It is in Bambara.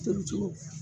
Tobi cogo